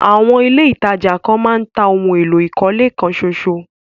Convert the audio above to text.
Àwọn ilẹ̀ ìtajà kan máa ń tà ohun èlò ìkọ́lé kan ṣóṣó.